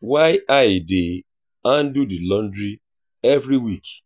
while i dey handle the laundry every week.